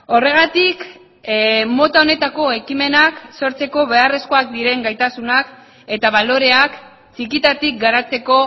horregatik mota honetako ekimenak sortzeko beharrezkoak diren gaitasunak eta baloreak txikitatik garatzeko